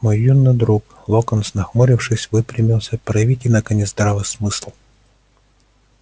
мой юный друг локонс нахмурившись выпрямился проявите наконец здравый смысл